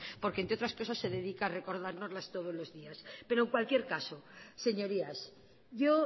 porque entre otras cosas se dedica a recordarnos las todos los días pero en cualquier caso señorías yo